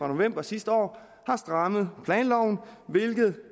november sidste år har strammet planloven hvilket